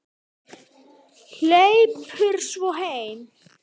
Hleypur svo heim.